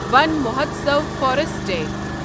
one Mahotsav forest day